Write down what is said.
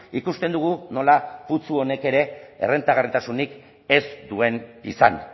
ikusten dugu nola putzu honek ere errentagarritasunik ez duen izan